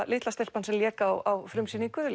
litla stelpan sem lék á frumsýningu